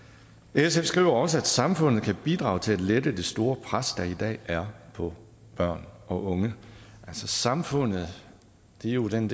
sf skriver også at samfundet kan bidrage til at lette det store pres der i dag er på børn og unge altså samfundet er jo den